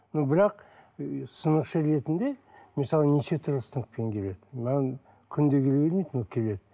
но бірақ сынықшы ретінде мысалы неше түрлі сынықпен келеді маған күнде келе бермейді но келеді